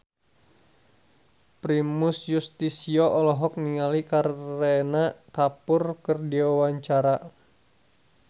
Primus Yustisio olohok ningali Kareena Kapoor keur diwawancara